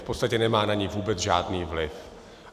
V podstatě nemá na ni vůbec žádný vliv.